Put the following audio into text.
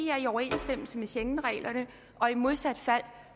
overensstemmelse med schengenreglerne og i modsat fald